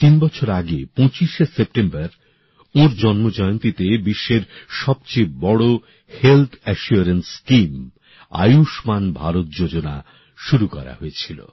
তিন বছর আগে ২৫ সেপ্টেম্বর ওঁর জন্ম জয়ন্তীতে বিশ্বের সবচেয়ে বড় health assurance scheme Ayushman Bharat যোজনা শুরু করা হয়েছিল